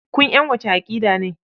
Kun ƴan wace aƙida ne?